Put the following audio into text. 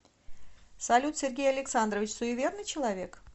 салют сергей александрович суеверный человек